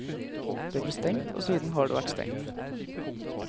Det ble stengt, og siden har det vært stengt.